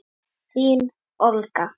Þín Olga.